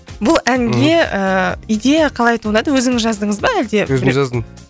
бұл әнге ыыы идея қалай туындады өзіңіз жаздыңыз ба әлде өзім жаздым